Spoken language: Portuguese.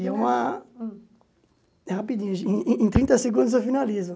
E é uma... é rapidinho, em em em trinta segundos eu finalizo.